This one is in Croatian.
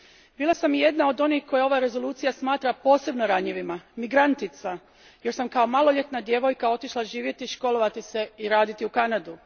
Bila sam i jedna od onih koje ova rezolucija smatra posebno ranjivima migrantica, jer sam kao maloljetna djevojka otišla živjeti, školovati se i raditi u Kanadu.